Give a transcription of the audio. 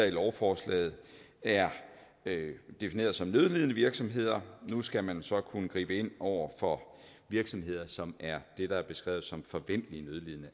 i lovforslaget er defineret som nødlidende virksomheder nu skal man så kunne gribe ind over for virksomheder som er det der er beskrevet som forventelig nødlidende